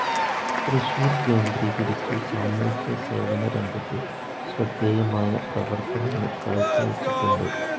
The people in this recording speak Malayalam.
തൃശൂർ കേന്ദ്രീകരിച്ച് സാമൂഹ്യസേവന രംഗത്ത് ശ്രദ്ധേയമായ പ്രവർത്തനങ്ങൾ കാഴ്ചവെച്ചിട്ടുണ്ട്.